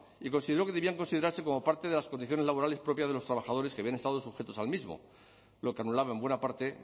y consideró que debían considerarse como parte de las condiciones laborales propias de los trabajadores que habían estado sujetos al mismo lo que anulaba en buena parte